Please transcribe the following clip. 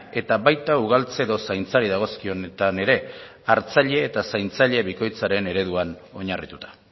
eta baita ugaltze edo zaintzari dagozkionetan ere hartzaile eta zaintzaile bikoitzaren ereduan oinarrituta